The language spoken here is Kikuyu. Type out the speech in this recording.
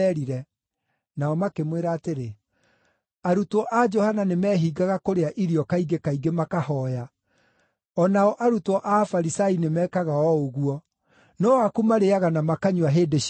Nao makĩmwĩra atĩrĩ, “Arutwo a Johana nĩ meehingaga kũrĩa irio kaingĩ kaingĩ makahooya, o nao arutwo a Afarisai nĩmekaga o ũguo, no aku marĩĩaga na makanyua hĩndĩ ciothe.”